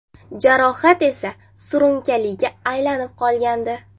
Jarohat esa surunkaliga aylanib qolgandi.